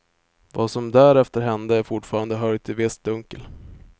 Vad som därefter hände är fortfarande höljt i visst dunkel.